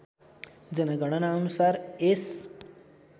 जनगणना अनुसार यस